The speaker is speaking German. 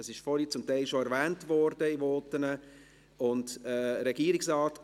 Möchte sich der Kommissionspräsident dazu äussern?